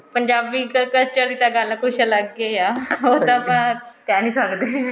Punjabi culture ਦੀ ਤਾਂ ਗੱਲ ਕੁੱਛ ਅਲੱਗ ਹੀ ਹੈ ਉਹ ਤਾਂ ਆਪਾਂ ਕਿਹ ਨੀ ਸਕਦੇ